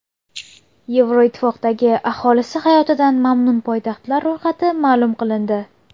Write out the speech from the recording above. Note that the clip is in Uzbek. Yevroittifoqdagi aholisi hayotidan mamnun poytaxtlar ro‘yxati ma’lum qilindi.